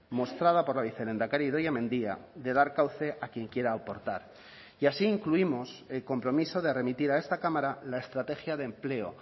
mostrada por la vicelehendakari idoia mendia de dar cauce a quien quiera aportar y así incluimos el compromiso de remitir a esta cámara la estrategia de empleo